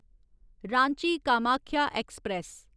Ranchi Kamakhya express